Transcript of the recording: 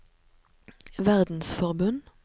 verdensforbund